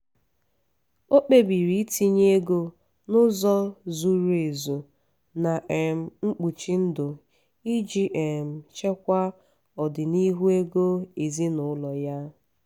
ọ kpebiri itinye ego n’ụzọ zuru ezu na um mkpuchi ndụ iji um chekwaa ọdịnihu ego ezinụlọ ya.